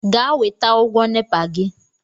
Gaa weta ụgwọ NEPA gị!